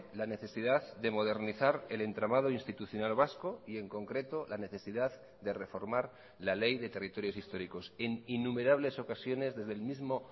la necesidad de modernizar el entramado institucional vasco y en concreto la necesidad de reformar la ley de territorios históricos en innumerables ocasiones desde el mismo